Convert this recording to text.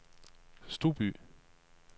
Stouby